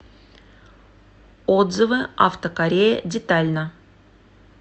отзывы автокорея детально